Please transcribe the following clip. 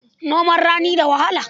Noman rani da wahala.